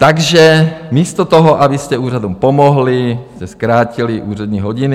Takže místo toho, abyste úřadům pomohli, jste zkrátili úřední hodiny.